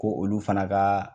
Ko olu fana kaa